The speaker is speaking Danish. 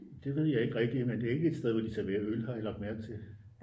Det ved jeg ikke rigtig men det er ikke et sted hvor de serverer øl har jeg lagt mærke til